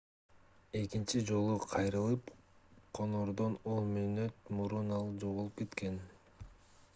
экинчи жолу кайрылып конордон 10 мүнөт мурун ал жоголуп кеткен